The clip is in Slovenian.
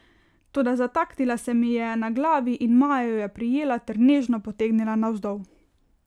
Toda zataknila se mi je na glavi in Maja jo je prijela ter nežno potegnila navzdol.